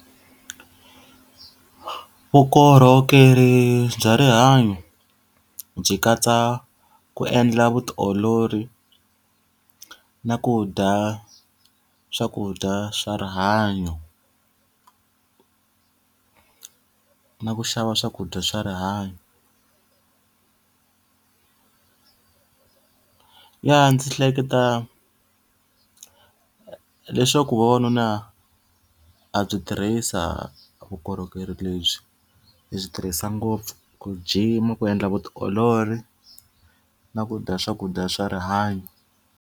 Vukorhokeri bya rihanyo, byi katsa ku endla vutiolori na ku dya swakudya swa rihanyo na ku xava swakudya swa rihanyo. Ya ndzi hleketa leswaku ku vavanuna ha byi tirhisa vukorhokeri lebyi. Hi byi tirhisa ngopfu ku jima, ku endla vutiolori, na ku dya swakudya swa rihanyo.